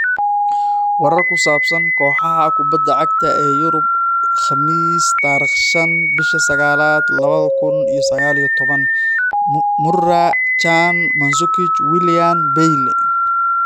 Warar ku saabsan kooxaha kubadda cagta ee Yurub Khamiis tarikh shan bishi saqalad lawadha kun iyo saqal iyo towan Moura, Can, Mandzukic, Willian, Bailly.